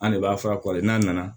An de b'a fara kɔlɔn n'a nana